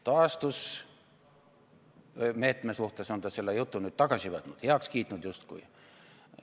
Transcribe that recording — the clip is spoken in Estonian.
Taastusmeetme suhtes on ta selle jutu nüüd tagasi võtnud, heaks kiitnud justkui.